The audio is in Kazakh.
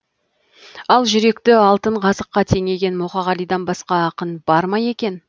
ал жүректі алтын қазыққа теңеген мұқағалидан басқа ақын бар ма екен